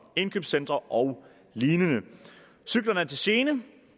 indkøbscentre og lignende cyklerne er til gene